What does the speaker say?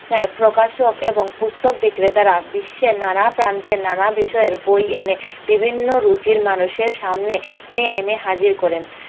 এ প্রকাশক এবং পুস্তক বিক্রেতারা বিশ্বের নানা প্রান্তের নানা বিষয়ের বই এনে বিভিন্ন রুচির মানুষের সামনে নিয়ে এনে হাজির করেন